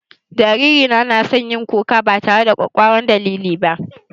Jariri na ya na son yin kuka ba tare da ƙwakkwaran dalili ba